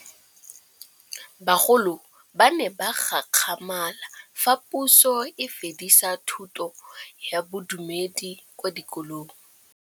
Bagolo ba ne ba gakgamala fa Pusô e fedisa thutô ya Bodumedi kwa dikolong.